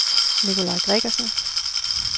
Nicolaj Gregersen